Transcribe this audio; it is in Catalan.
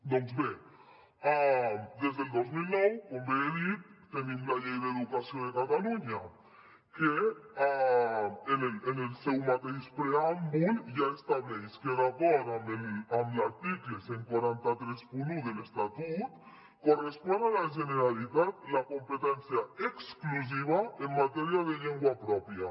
doncs bé des del dos mil nou com bé he dit tenim la llei d’educació de catalunya que en el seu mateix preàmbul ja estableix que d’acord amb l’article catorze trenta u de l’estatut correspon a la generalitat la competència exclusiva en matèria de llengua pròpia